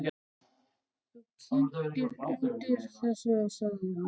Þú kyntir undir þessu, sagði hún.